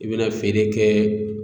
I bɛna feere kɛ